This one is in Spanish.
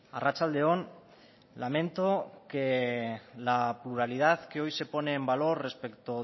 arratsalde on lamento que la pluralidad que hoy se pone en valor respecto